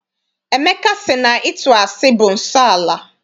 Emeka sị na ịtụ asị bụ nsọala.